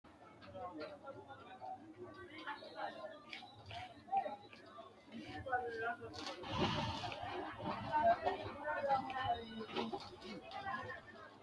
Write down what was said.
Kuni seenu uure noota la'nemo qoleno insa kiiro sase ikinotana sidamuniha budu udune udire nootano anfemo insano biifenna sese noo